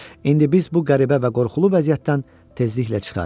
İndi biz bu qəribə və qorxulu vəziyyətdən tezliklə çıxarıq.